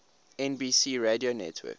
nbc radio network